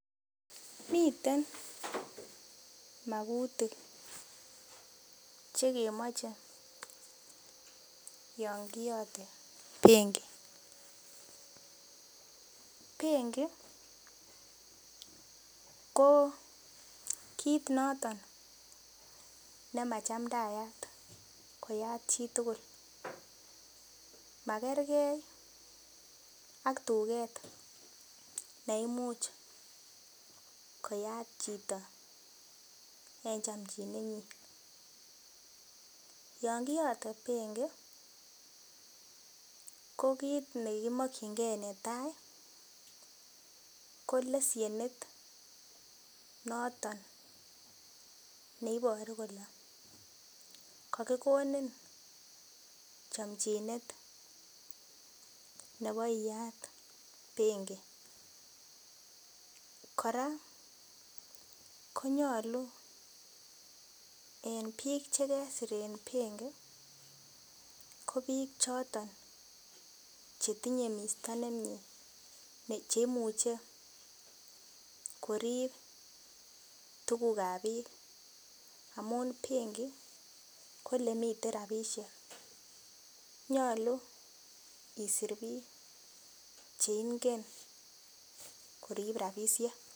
Miten makutik chekemoche yon kiyote benki ,benki ko kiit noton nemachamdayat koyat chitugul makerkei ak tuket neimuch koyat chito eng chomchinet nyi yon kiyote benki ko kiit ne kimakchinke netai ko lesienit noton neiboru kole kakikonin chomchinet nebo iyat benki kora konyolu en biik chekesir eng benki ko biik choton chetinye misto nemie cheimuche korip tukuk ap biik amun benki kolemiten rapishek nyolu isir biik cheingen korip ropisiek.